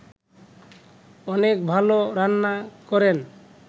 অনেক ভালো রান্না করেন